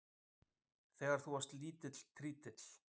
Þegar þú varst lítill trítill.